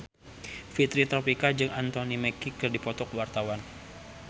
Fitri Tropika jeung Anthony Mackie keur dipoto ku wartawan